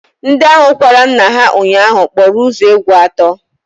Ndị ahụ kwara nna ha ụnyaahụ kpọrọ ụzọ egwu atọ